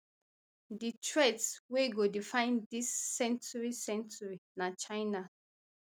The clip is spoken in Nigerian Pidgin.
di threat um wey go define dis century century na china